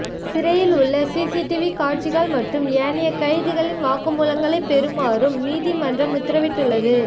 சிறையில் உள்ள சிசிடிவி காட்சிகள் மற்றும் ஏனைய கைதிகளின் வாக்குமூலங்களை பெறுமாறும் நீதிமன்றம் உத்தரவிட்டுள்ளது